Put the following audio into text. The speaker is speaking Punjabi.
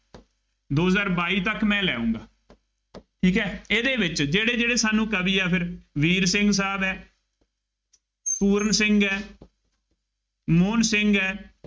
ਦੋ ਹਜ਼ਾਰ ਬਾਈ ਤੱਕ ਮੈਂ ਲੈ ਆਊਂਗਾ। ਠੀਕ ਹੈ, ਇਹਦੇ ਵਿੱਚ ਜਿਹੜੇ ਜਿਹੜੇ ਸਾਨੂੰ ਕਵੀ ਆ ਫੇਰ ਵੀਰ ਸਿੰਘ ਸਾਹਿਬ ਹੈ, ਪੂਰਨ ਸਿੰਘ ਹੈ ਮੋਹਨ ਸਿੰਘ ਹੈ।